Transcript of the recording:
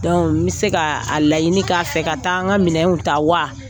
n bɛ se ka a laɲini k'a fɛ ka taa an ka minɛnw ta wa.